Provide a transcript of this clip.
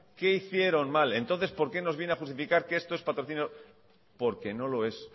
qué hicieron mal entonces por qué nos viene a justificar que esto es patrocinio porque no lo es